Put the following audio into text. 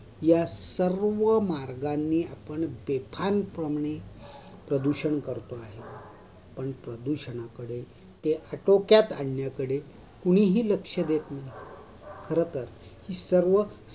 या सर्व मार्गांनी आपण बेफणपाने प्रदूषण करतो आहे पण प्रदूषणाकडे, ते आटोक्यात आणण्या कडे कुणीही लक्ष देत नाही. खरतर